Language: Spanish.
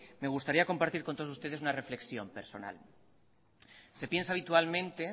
me gustaría compartir con todos ustedes una reflexión personal se piensa habitualmente